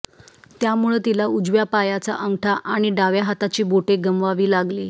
त्यामुळं तिला उजव्या पायाचा अंगठा आणि डाव्या हाताची बोटे गमावावी लागली